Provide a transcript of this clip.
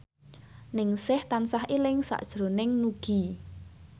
Ningsih tansah eling sakjroning Nugie